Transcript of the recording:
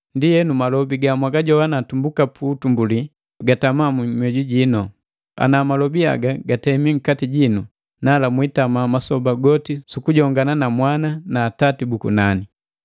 Ndienu, malobi ga mwagajowana tumbuka pu utumbuli gatama mu mioju jino. Ana malobi haga gatemi nkati jino, nala mwitama masoba goti sukujongana na Mwana na Atati bu kunani.